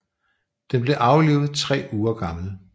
Den blev aflivet tre uger gammel